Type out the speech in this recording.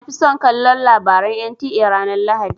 Na fi son kallon labaran NTA ranar lahadi.